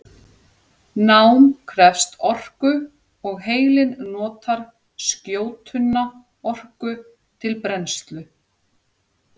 Nám krefst orku og heilinn notar skjótunna orku til brennslu.